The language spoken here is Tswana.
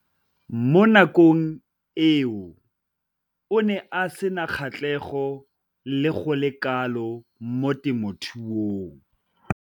Mo nakong eo o ne a sena kgatlhego go le kalo mo temothuong.